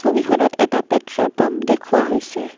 ছবিখনত এটা petrol pump দেখুওৱা হৈছে।